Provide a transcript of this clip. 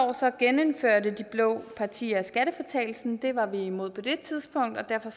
genindførte de blå partier skattefritagelsen det var vi imod på det tidspunkt og derfor